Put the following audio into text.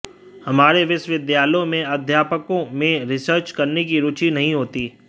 हमारे विश्वविद्यालयों में अध्यापकों में रिसर्च करने की रुचि नहीं होती